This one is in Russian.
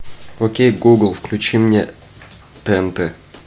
окей гугл включи мне тнт